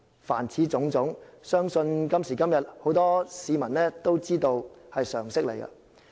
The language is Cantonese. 凡此種種，相信今時今日，很多市民都非常明白。